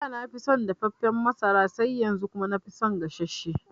Ada nafi son dafaffen masara sai yanzu kuma nafi son gasasshe